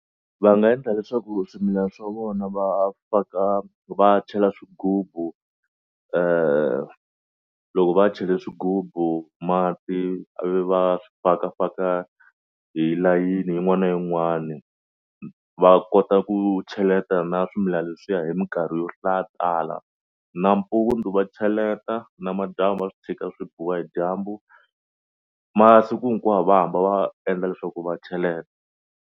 Va nga endla leswaku swimilana swa vona va faka va chela swigubu loko va chele swigubu mati ivi va fakafaka hi layeni yin'wana na yin'wani va kota ku cheleta na swimilana leswiya hi mikarhi yo tala. Nampundzu va cheleta namadyambu va swi tshika swi biwa hi dyambu masiku hinkwawo va hamba va endla leswaku va cheleta.